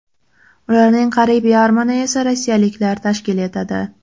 Ularning qariyb yarmini esa rossiyaliklar tashkil etadi.